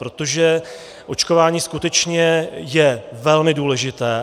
Protože očkování skutečně je velmi důležité.